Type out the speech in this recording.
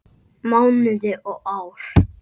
Mánuði og ár.